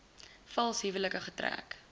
vals huwelike getrek